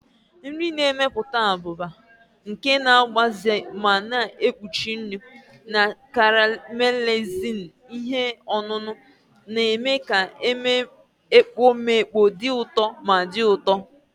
Nri na-emepụta abụba, nke na-agbaze ma na-ekpuchi nri, na caramelizing ihe ọṅụṅụ, na-eme ka ekpomeekpo dị ụtọ ma dị ụtọ.